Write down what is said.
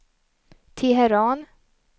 Teheran